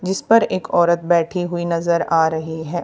जिस पर एक औरत बैठी हुई नजर आ रही है।